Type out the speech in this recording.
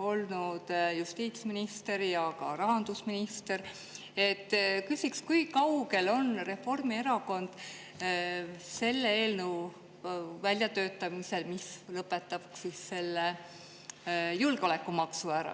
olnud justiitsminister ja ka rahandusminister, küsiksin, kui kaugel on Reformierakond selle eelnõu väljatöötamisel, mis lõpetab selle julgeolekumaksu ära.